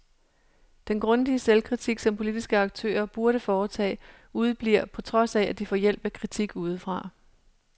Den grundige selvkritik, som politiske aktører burde foretage, udebliver, på trods af, at de får hjælp af kritik udefra.